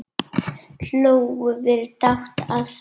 Hlógum við dátt að þessu.